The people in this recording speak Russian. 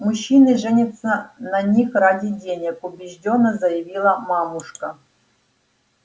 мужчины женятся на них ради денег убеждённо заявила мамушка